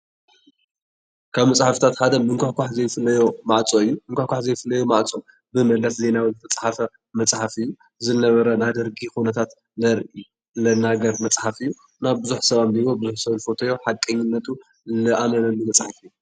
ካብ መፅሓፍትታት ሓደ ምኩሕኳሕ ዘይፍለዮ ማዕፆ እዩ። ምኩሕካሕ ዘይፍለዮ ማዓፆ ብመለስ ዜናዊ ዝተፃሓፈ መፅሓፍ እዩ። ዝነበረ ናይ ደርጊ ኩነታት ዝናገር መፅሓፍ እዩ ። ናብ ቡዙሕ ሰባት ኣቢቦም ቡዙሕ ዝፈተዮ ሓቀኝነቱ ዝተኣመነሉ መፅሓፍ እዩ።